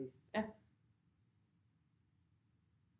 Trist